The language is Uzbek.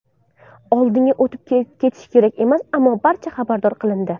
Oldinga o‘tib ketish kerak emas, ammo barcha xabardor qilindi.